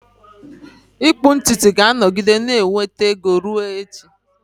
Ịkpụ ntutu ga-anọgide na-enweta ego ruo echi.